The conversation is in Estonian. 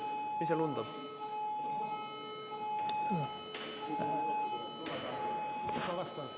Mis seal undab?